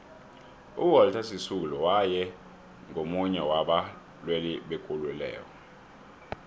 uwalter sisulu waye ngumunye waba lwelibekululeko